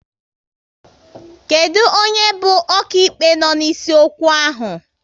Kedụ onye bụ okaịkpe no n'isi okwu ahụ?